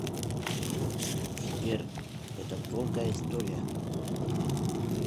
сбер это долгая история